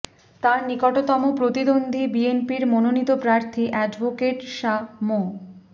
তার নিকটতম প্রতিদ্বন্দ্বী বিএনপির মনোনীত প্রার্থী অ্যাডভোকেট শাহ মো